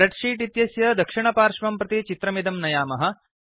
spread sheet इत्यस्य दक्षिणपार्श्वं प्रति चित्रमिदं नयामः